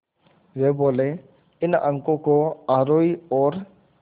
वे बोले इन अंकों को आरोही और